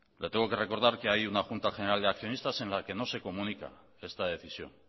le tengo que recordar que hay una junta general de accionistas en la que no se comunica esta decisión